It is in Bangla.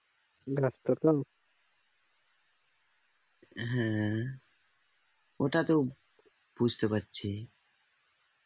হুম ওটা তো বুঝতে পারছি